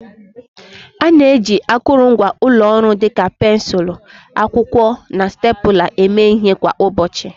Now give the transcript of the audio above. A na-eji akụrụngwa ụlọ ọrụ dịka pensụl, akwụkwọ, na stapler eme ihe kwa ụbọchị.